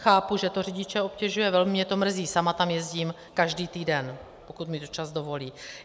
Chápu, že to řidiče obtěžuje, velmi mě to mrzí, sama tam jezdím každý týden, pokud mi to čas dovolí.